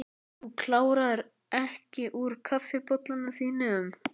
Þú kláraðir ekki úr kaffibollanum þínum.